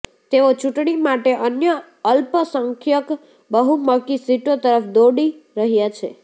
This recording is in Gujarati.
તેઓ ચૂંટણી માટે અન્ય અલ્પસંખ્યક બહુમકી સીટો તરફ દોડી રહ્યાં છે